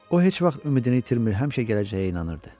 O heç vaxt ümidini itirmir, həmişə gələcəyə inanırdı.